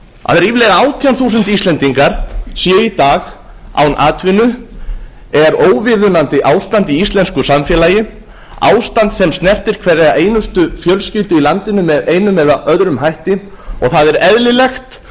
að ríflega átján þúsund íslendingar séu í dag án atvinnu er óviðunandi ástand í íslensku samfélagi ástand sem snertir hverja einustu fjölskyldu í landinu með einum eða öðrum hætti og það er eðlilegt